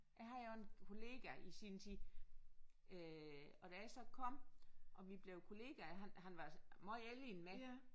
Jeg havde jo en kollega i sin tid øh og da jeg så kom og vi blev kollegaer han han var altså måj ældre end mig